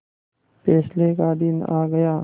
फैसले का दिन आ गया